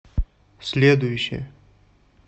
следующая